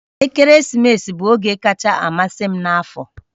Ekeresimesi bụ oge kacha amasị m n'afọ